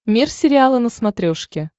мир сериала на смотрешке